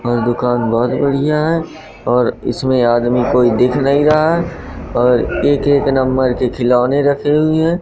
दुकान बहोत बढ़िया है और इसमें आदमी कोई दिख नहीं रहा है और एक एक नंबर के खिलौने रखे हुए है।